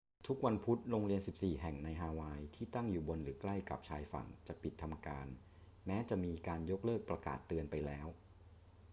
ทุกวันพุธ โรงเรียน 14 แห่งในฮาวายที่ตั้งอยู่บนหรือใกล้กับชายฝั่งจะปิดทำการแม้จะมีการยกเลิกประกาศเตือนไปแล้ว